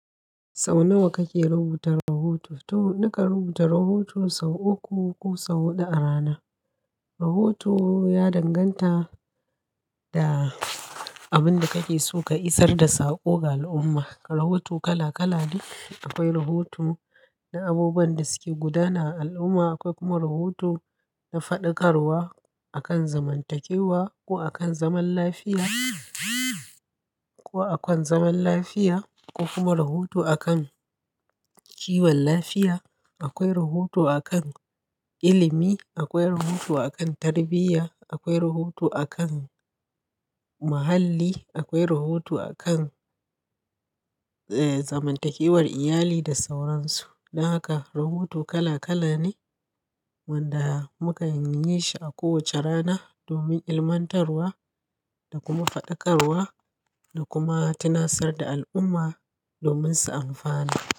Sau nawa kake rubuta rohoto? To, nakan rubuta rahoto sau uku ko sau huɗu a rana. Rahoto ya danganta da abin da kake so ka isar da saƙo ga al'umma. Rahoto kala-kala ne. Akwai rahoto na abubuwan da suke gudana a al'umma, akwai kuma rahoto na faɗakarwa a kan zamantakewa ko a kan zaman lafiya ko a kan zaman lafiya ko kuma rahoto a kan kiwon lafiya. Akwai rahoto a kan ilimi, akwai rahoto a kan tarbiyya, akwai rahoto a kan muhalli, akwai rahoto a kan, eh, zamantakewar iyali da sauran su. Don haka rahoto kala-kala ne wanda muke yin shi a kowace rana domin ilmantarwa da kuma faɗakarwa da kuma tunatsar da al'umma domin su amfana.